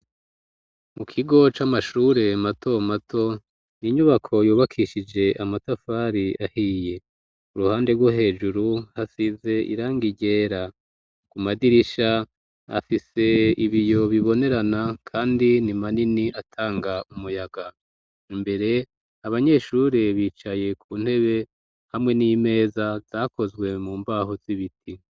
mu kigo c'amashure mato mato ninyubako yubakishije amatafari ahiye uruhande rwo hejuru hasize iranga ryera ku madirisha afise ibiyo bibonerana kandi ni manini atanga umuyaga imbere abanyeshure bicaye ku ntebe hamwe n'imeza zakozwe mu mbaho z'ibiti.